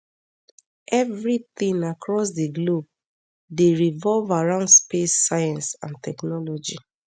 evri tin across di globe dey revolve around space science and technology